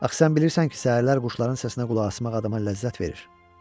Axı sən bilirsən ki, səhərlər quşların səsinə qulaq asmaq adama ləzzət verir.